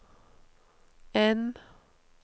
N